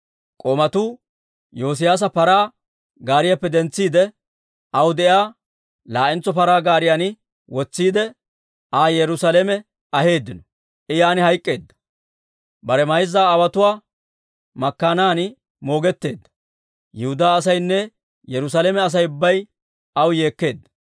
K'oomatuu Yoosiyaasa paraa gaariyaappe dentsiide, aw de'iyaa laa'entso paraa gaariyan wotsiide, Aa Yerusaalame aheeddino. I yaan hayk'k'eedda; bare mayza aawotuwaa makkaanan moogetteedda. Yihudaa asaynne Yerusaalame Asay ubbay aw yeekkeedda.